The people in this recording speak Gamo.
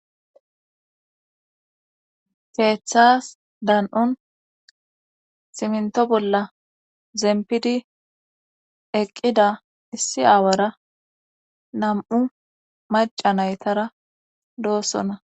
keeththas dan'un simnto bolla zempidi eqqida issi aawara nam'u maca naytara doossona.